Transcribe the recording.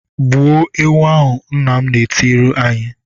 "Gbuo ewu ahụ!" Nna m na-etiri anyị.